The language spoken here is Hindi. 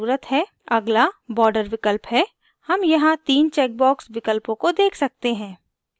अगला border विकल्प है हम यहाँ 3 checkbox विकल्पों को check सकते हैं